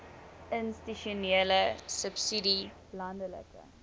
institusionele subsidie landelike